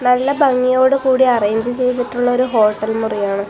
നല്ല ഭംഗിയോട് കൂടി അറേഞ്ച് ചെയ്തിട്ടുള്ളൊരു ഹോട്ടൽ മുറിയാണ്.